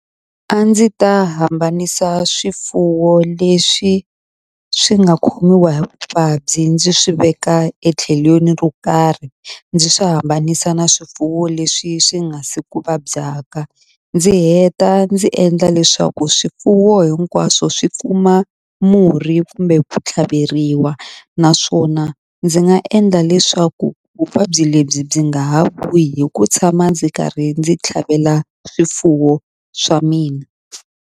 A ndzi ta hambanisa swifuwo leswi swi nga khomiwa hi vuvabyi ndzi swi veka etlhelweni ro karhi ndzi swi hambanisa na swifuwo leswi swi nga si ku vabyaka ndzi heta ndzi endla leswaku swifuwo hinkwaswo swi kuma murhi kumbe ku tlhaveriwa naswona ndzi nga endla leswaku vuvabyi lebyi byi nga ha vuyi hi ku tshama ndzi karhi ndzi tlhavela swifuwo swa mina.